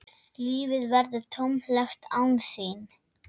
Lífið verður tómlegt án þín.